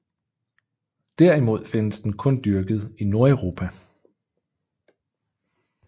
Derimod findes den kun dyrket i Nordeuropa